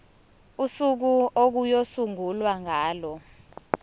usuku okuyosungulwa ngalo